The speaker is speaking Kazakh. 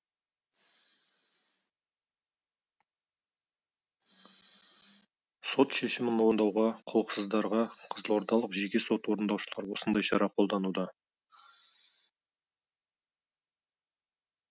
сот шешімін орындауға құлықсыздарға қызылордалық жеке сот орындаушылар осындай шара қолдануда